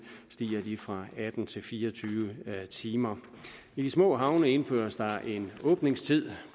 fra atten til fire og tyve timer i de små havne indføres der populært sagt en åbningstid